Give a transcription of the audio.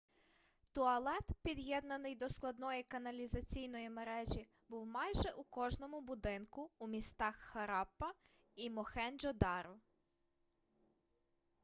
туалет під'єднаний до складної каналізаційної мережі був майже у кожному будинку у містах хараппа і мохенджо-даро